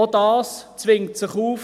Auch dies drängt sich auf;